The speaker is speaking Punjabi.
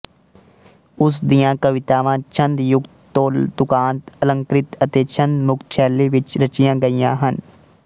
ਉਸ ਦੀਆਂ ਕਵਿਤਾਵਾਂ ਛੰਦਯੁਕਤ ਤੋਲਤੁਕਾਂਤ ਅਲੰਕ੍ਰਿਤ ਅਤੇ ਛੰਦਮੁਕਤ ਸ਼ੈਲੀ ਵਿੱਚ ਰਚੀਆਂ ਗਈਆਂ ਹਨ